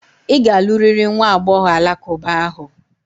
Ị ga-alụrịrị nwa agbọghọ alakụba ahụ!